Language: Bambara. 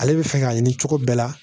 Ale bɛ fɛ ka ɲini cogo bɛɛ la